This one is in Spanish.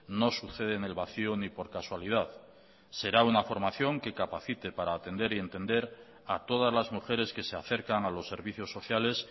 no sucede en el vacío ni por casualidad será una formación que capacite para atender y entender a todas las mujeres que se acercan a los servicios sociales